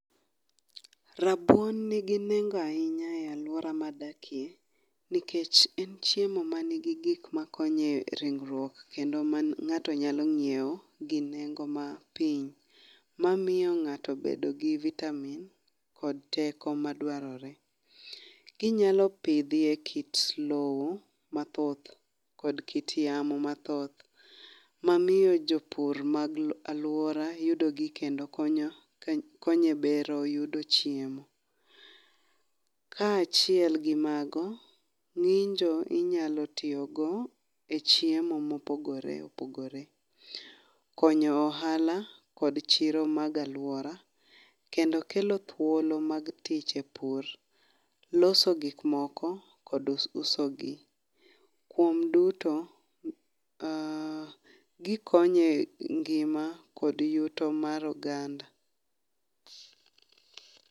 Rabuon nigi nengo ahinya e alwora madakie, nikech en chiemo manigi gik makonyo e ringruok kendo ma ng'ato nyalo ng'iewo gi nengo mapiny, mamiyo ng'ato bedo gi vitamin kod teko madwarore. Kinyalo pidhiye kit lowo mathoth kod kit yamo mathoth mamiyo jopur mag alwora yudogi kendo konyo e bero yudo chiemo. Ka achiel gi mago, ng'injo inyalo tiyogo e chiemo mopogore opogore. Konyo ohala kod chiro mag alwora, kendo kelo thuolo mag tich e pur . Loso gik moko kod uso gi. Kuom duto, gikonyo e ngima kod yuto mar oganda.